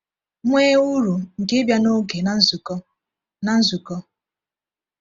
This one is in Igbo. Nwee uru nke ịbịa n’oge na nzukọ. na nzukọ.